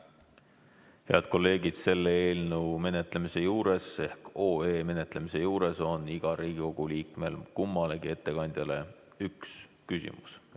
Head kolleegid, selle eelnõu menetlemise juures ehk OE menetlemise juures on igal Riigikogu liikmel kummalegi ettekandjale üks küsimus.